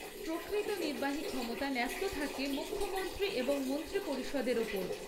প্রকৃত নির্বাহী ক্ষমতা ন্যস্ত থাকে মুখ্যমন্ত্রী এবং মন্ত্রীপরিষদের ওপর।